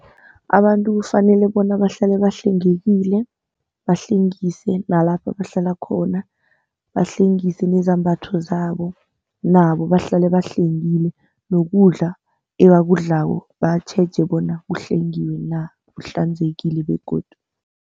Abantu kufanele bona bahlale bahlengekile, bahlengise nalapho abahlala khona. Bahlengise nezambatho zabo nabo bahlale bahlengile nokudla ebakudlako batjheje bona kuhlengile na, kuhlanzekile begodu.